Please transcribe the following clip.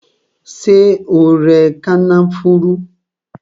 Ṣé o rẹ kànáfùrú?